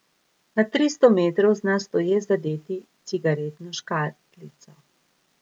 Na tristo metrov zna stoje zadeti cigaretno škatlico.